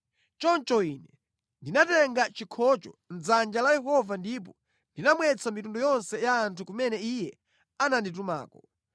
Choncho ine ndinatenga chikhocho mʼdzanja la Yehova ndipo ndinamwetsa mitundu yonse ya anthu kumene Iye ananditumako: